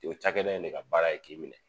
O cakɛda in ne ka baara ye k'i minɛ